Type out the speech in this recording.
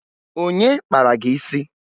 Onye kpara gị isi?